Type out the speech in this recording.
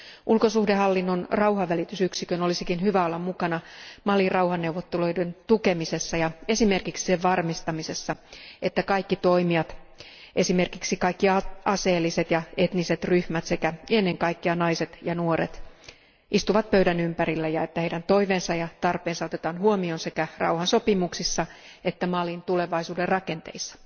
Ulkosuhdehallinnon rauhanvälitysyksikön olisikin hyvä olla mukana Malin rauhanneuvotteluiden tukemisessa ja esimerkiksi sen varmistamisessa, että kaikki toimijat, esimerkiksi kaikki aseelliset ja etniset ryhmät sekä ennen kaikkea naiset ja nuoret, istuvat pöydän ympärillä ja että heidän toiveensa ja tarpeensa otetaan huomioon sekä rauhansopimuksissa että Malin tulevaisuuden rakenteissa.